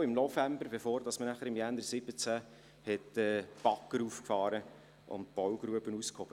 Zu dieser kam es im November, bevor man im Januar 2017 mit den Baggern auffuhr und die Baugrube aushob.